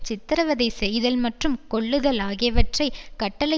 சித்திரவதை செய்தல் மற்றும் கொல்லுதல் ஆகியவற்றை கட்டளை